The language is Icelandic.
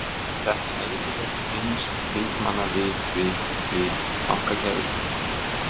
Eru þetta eðlileg tengsl þingmanna við, við, við bankakerfið?